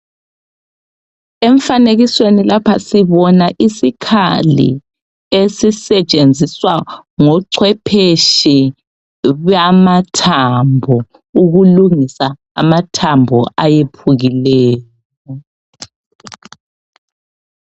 Emfanekisweni lapha sibona isikhali esisetshenziswa ngochwephetshe bamathambo ukulungisa amathambo awephukileyo.